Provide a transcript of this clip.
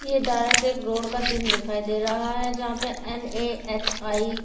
ये डायरेक्ट एक रोड का सीन यहाँ पे एन ए एच आई करके।